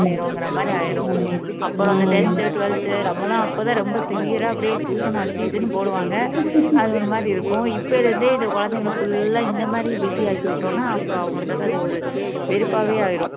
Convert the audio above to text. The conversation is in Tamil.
செய்யறோங்கிற மாதிரி ஆயிடும் அப்புறம் tenth twelfth நம்மளாம் அப்பதான் ரொம்ப severe ஆ அப்படியே tuition அது இதுன்னு போடுவாங்க அது ஒரு மாதிரி இருக்கும் இப்ப இருந்தே இந்த குழந்தைகளை full ஆ இந்த மாதிரி busy ஆக்கி விட்டோம்ன்னா அப்புறம் அவங்களுக்காக அது ஒரு வெறுப்பாவே ஆயிரும்